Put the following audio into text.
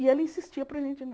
E ela insistia para a gente não.